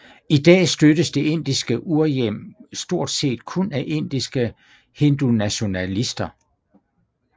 I dag støttes det indiske urhjem stortset kun af indiske hindunationalister